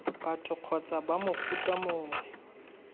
batho kgotsa b mofuta mongwe